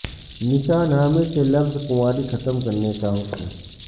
نکاح نامے سے لفظ کنواری ختم کرنے کا حکم